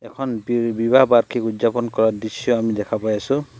এখন বি বিবাহ বাৰ্ষিক উদযাপন কৰা দৃশ্য আমি দেখা পাই আছো।